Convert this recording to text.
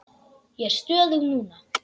Ég er stöðug núna.